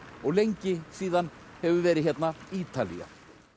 og lengi síðan hefur verið hérna Ítalía